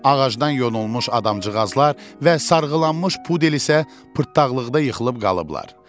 Ağacdan yonulmuş adamcığazlar və sarğılanmış pudel isə pırtdaxlıqda yıxılıb qalıblar.